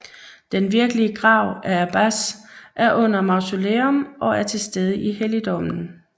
Den virkelige grav af Abbas er under mausoleum og er til stede i helligdommen